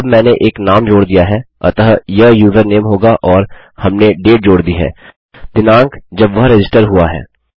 अब मैंने एक नाम जोड़ दिया है अतः यह यूज़रनेम होगा और हमने डेट जोड़ दी है दिनाँक जब वह रजिस्टर हुआ है